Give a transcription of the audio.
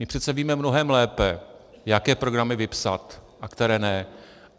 My přece víme mnohem lépe, jaké programy vypsat a které ne.